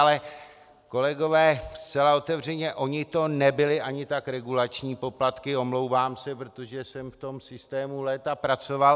Ale kolegové, zcela otevřeně, oni to nebyly ani tak regulační poplatky, omlouvám se, protože jsem v tom systému léta pracoval.